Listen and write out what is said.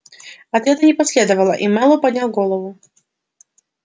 ответа не последовало и мэллоу поднял голову